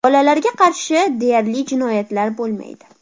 Bolalarga qarshi deyarli jinoyatlar bo‘lmaydi.